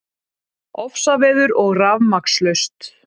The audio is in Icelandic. Ofsaveður og rafmagnslaust